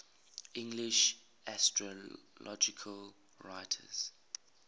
english astrological writers